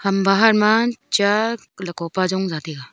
bahar ma cha lako pa zong jataiga.